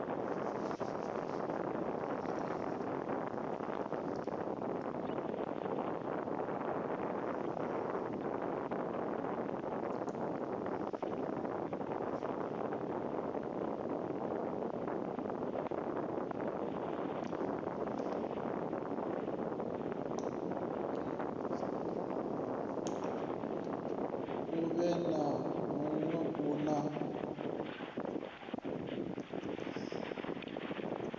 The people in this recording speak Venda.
muwe na muwe u na